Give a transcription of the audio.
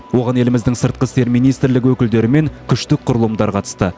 оған еліміздің сыртқы істер министрлігі өкілдері мен күштік құрылымдар қатысты